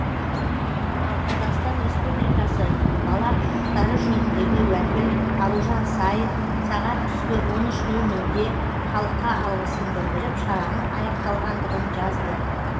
ал қазақстан республикасы бала құқықтары жөніндегі уәкіл аружан саин сағат түскі он үш нөл нөлде халыққа алғысын білдіріп шараның аяқталғандығын жазды